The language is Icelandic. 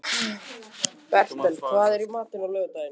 Bertel, hvað er í matinn á laugardaginn?